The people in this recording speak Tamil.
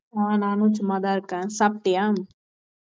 அஹ் நானும் சும்மாதான் இருக்கேன். சாப்பிட்டியா?